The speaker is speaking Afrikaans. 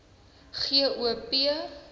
g o p